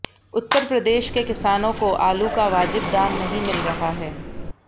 उत्तर प्रदेश के किसानों को आलू का वाजिब दाम नहीं मिल रहा है